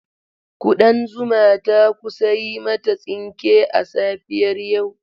Ƙudan zuma ta kusa yi mata tsinke a safiyar yau.